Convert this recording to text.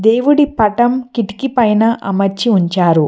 దేవుడి పటం కిటికీ పైన అమర్చి ఉంచారు.